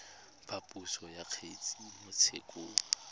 phaposo ya kgetse mo tshekong